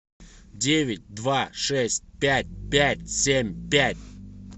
девять два шесть пять пять семь пять